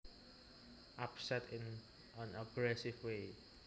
Upset in an aggressive way